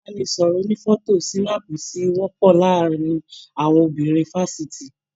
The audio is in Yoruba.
Ibanisọrọ ònífọ̀tò sinaapu tí wọpọ láàárín àwọn obìnrin fafiti.